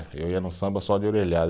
Eu ia no samba só de orelhada.